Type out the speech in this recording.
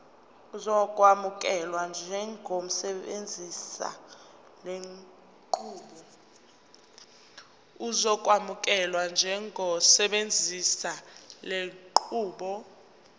uzokwamukelwa njengosebenzisa lenqubo